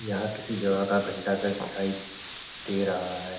यहाँ किसी जगह का घंटाघर दिखाई दे रहा है।